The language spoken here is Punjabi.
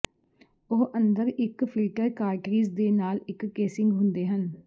ਉਹ ਅੰਦਰ ਇੱਕ ਫਿਲਟਰ ਕਾਰਟ੍ਰੀਜ ਦੇ ਨਾਲ ਇੱਕ ਕੇਸਿੰਗ ਹੁੰਦੇ ਹਨ